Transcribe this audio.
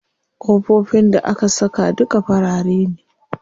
Ƙofofin da aka saka duka farare ne.